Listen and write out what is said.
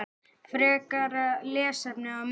Frekara lesefni og myndir